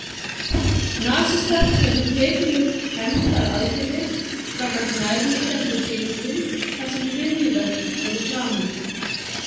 Nasistar höfðu tekið upp hefndaraðgerðir gagnvart nærliggjandi byggðum þar sem hryðjuverk voru framin.